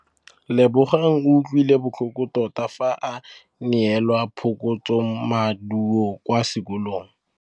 Lebogang o utlwile botlhoko tota fa a neelwa phokotsômaduô kwa sekolong.